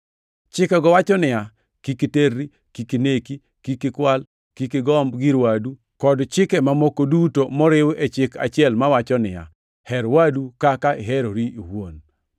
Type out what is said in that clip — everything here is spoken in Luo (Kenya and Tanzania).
Chikego wacho niya, “Kik iterri, kik ineki, kik ikwal, kik igomb gir wadu,” + 13:9 \+xt Wuo 20:13-15,17; Rap 5:17-19,21\+xt* kod chike mamoko duto moriw e chik achiel mawacho niya, “Her wadu kaka iherori iwuon.” + 13:9 \+xt Lawi 19:18\+xt*